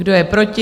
Kdo je proti?